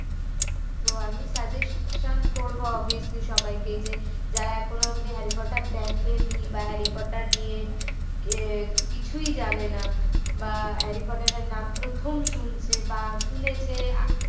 তো আমি suggestion করবো obviously যে সবাইকে যে যারা এখনো অব্দি হ্যারি পটার দেখেনি বা হ্যারি পটার নিয়ে কিছুই জানে না বা হ্যারি পটার এর নাম প্রথম শুনছে বা শুনেছে